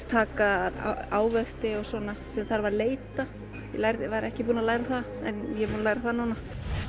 taka ávexti og svona sem þarf að leita ég var ekki búin að læra það en ég er búin að læra það núna